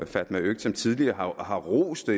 fatma øktem tidligere har rost det